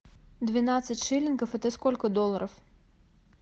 двенадцать шиллингов это сколько долларов